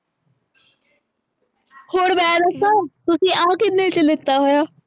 ਹੁਣ ਮੈਂ ਦੱਸਾਂ ਤੁਸੀਂ ਆਹ ਕਿੰਨੇ ਚ ਲੀਤਾ ਹੋਇਆ